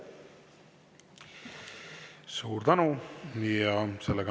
Suur tänu!